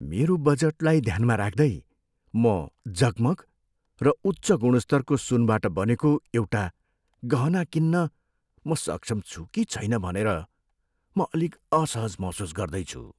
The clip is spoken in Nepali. मेरो बजेटलाई ध्यानमा राख्दै, म जगमग र उच्च गुणस्तरको सुनबाट बनेको एउटा गहना किन्न म सक्षम छु कि छैन भनेर म अलिक असहज महसुस गर्दैछु।